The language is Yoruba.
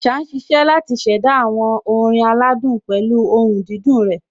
Àṣá ń ṣiṣẹ́ láti ṣẹ̀dá àwọn orin aládùn pẹ̀lú ohùn dídùn rẹ̀.